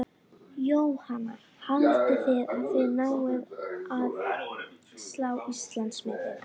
Andlitið var svipmikið og karlmannlegt og drættir allir reglulegir.